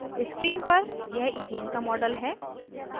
screen पर यह ethane का model है